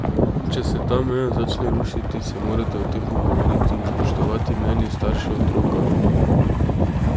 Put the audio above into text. Če se ta meja začne rušiti, se morate o tem pogovoriti in spoštovati mnenje staršev otroka.